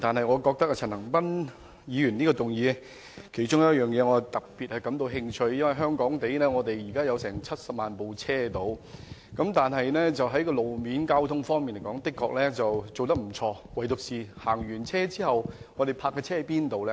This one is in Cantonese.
我對陳恒鑌議員提出的議案的其中一部分內容特別感興趣，因為香港現時約有70萬輛汽車，雖然路面交通設施頗為完善，但駕車人士可以把車輛停泊在哪裏？